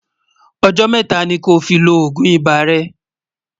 ọ̀jò métà ní kò fí ló ògún ibà rè